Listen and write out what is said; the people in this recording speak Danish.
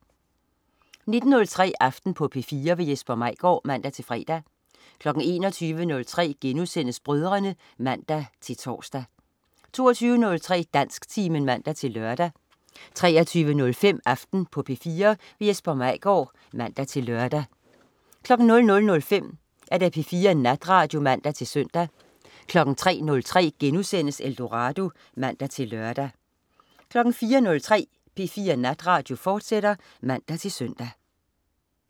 19.03 Aften på P4. Jesper Maigaard (man-fre) 21.03 Brødrene* (man-tors) 22.03 Dansktimen (man-lør) 23.05 Aften på P4. Jesper Maigaard (man-lør) 00.05 P4 Natradio (man-søn) 03.03 Eldorado* (man-lør) 04.03 P4 Natradio, fortsat (man-søn)